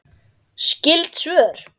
Skyld svör